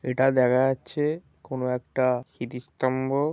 এটা দেখা যাচ্ছে কোনো একটা স্মৃতি স্তম্ভ।